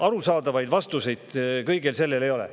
Arusaadavaid vastuseid kõigele sellele ei ole.